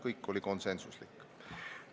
Kõik otsused olid konsensuslikud.